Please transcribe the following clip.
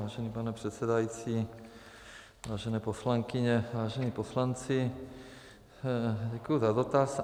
Vážený pane předsedající, vážené poslankyně, vážení poslanci, děkuji za dotaz.